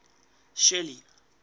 shelly